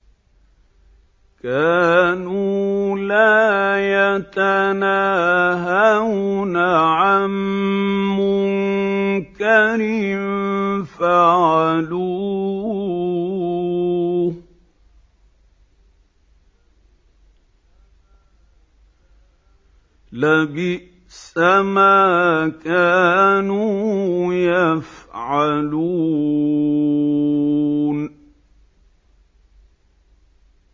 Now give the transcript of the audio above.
كَانُوا لَا يَتَنَاهَوْنَ عَن مُّنكَرٍ فَعَلُوهُ ۚ لَبِئْسَ مَا كَانُوا يَفْعَلُونَ